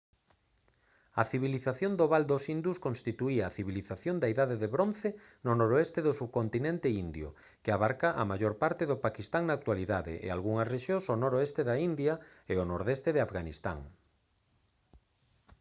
a civilización do val dos indus constituíu a civilización da idade de bronce no noroeste do subcontinente indio que abarca a maior parte do paquistán da actualidade e algunhas rexión ao noroeste da india e o nordeste de afganistán